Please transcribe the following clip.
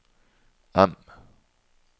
M